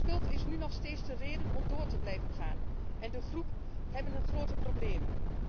De schuld is nu nog steeds de reden om door te blijven gaan en de groep heeft grote problemen.